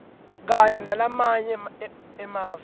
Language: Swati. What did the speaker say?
kanye nalamanye emave